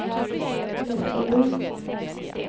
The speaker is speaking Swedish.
Lessebo